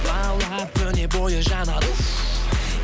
лаулап күні бойы жанады уф